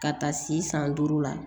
Ka taa si san duuru la